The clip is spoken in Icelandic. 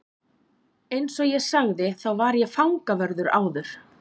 Eins og ég sagði þá var ég fangavörður áður.